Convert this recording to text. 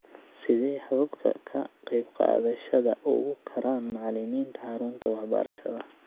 Sidee Hababka Ka Qaybqaadashada Ugu Karaan Macallimiinta Xarunta Waxbarashada?